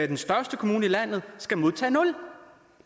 den største kommune i landet skal modtage nul